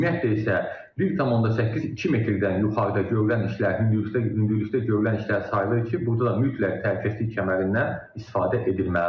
Ümumiyyətlə isə 1.8-2 metrdən yuxarıda görülən işlər hündürlükdə görülən işlər sayılır ki, burda da mütləq təhlükəsizlik kəmərindən istifadə edilməlidir.